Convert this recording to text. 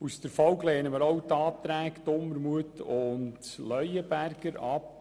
Infolgedessen lehnen wir auch die Anträge Dumermuth und Leuenberger ab.